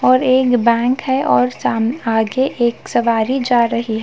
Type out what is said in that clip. और एक बैंक है और साम आगे एक सवारी जा रही--